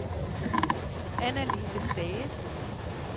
Annalise Stage